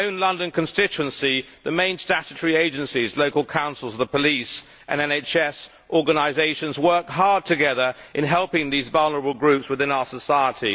In my own London constituency the main statutory agencies, local councils, the police and NHS organisations work hard together in helping vulnerable groups within our society.